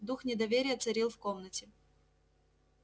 дух недоверия царил в комнате